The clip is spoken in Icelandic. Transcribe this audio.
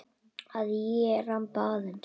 Að ég ramba aðeins.